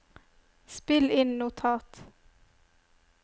spill inn notat